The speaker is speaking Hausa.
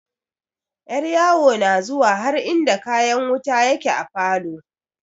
Yaryawo na zuwa har inda kayan wuta yake a falo.